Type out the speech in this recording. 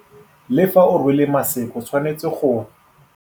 Le fa o rwele maseke o tshwanetse go.